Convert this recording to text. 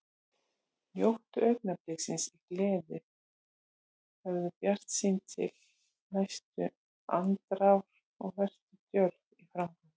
Njóttu augnabliksins í gleði, horfðu bjartsýn til næstu andrár og vertu djörf í framgöngu.